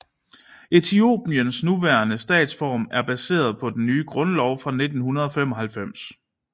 Etiopiens nuværende statsform er baseret på den nye grundlov fra 1995